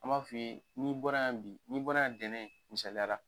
An m'a f'i ye n'i bɔra yan bi, n'i bɔra yan ntɛnɛn misayala